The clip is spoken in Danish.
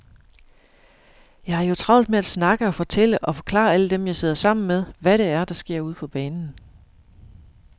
Jeg har jo travlt med at snakke og fortælle og forklare alle dem, jeg sidder sammen med, hvad det er, der sker ude på banen.